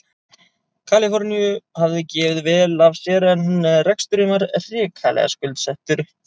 Kaliforníu hafði gefið vel af sér en reksturinn var hrikalega skuldsettur.